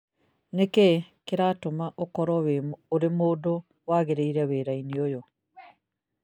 Nĩ kĩĩ kĩratũma ũkorũo ũrĩ mũndũ wagĩrĩire wĩra-inĩ ũyũ